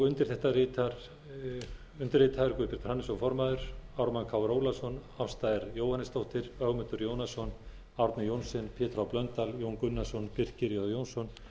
undir þetta rita undirritaður guðbjartur hannesson formaður ármann krónu ólafsson ásta r jóhannesdóttir ögmundur jónasson árni johnsen pétur h blöndal jón gunnarsson birkir j jónsson